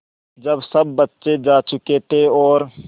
जब सब बच्चे जा चुके थे और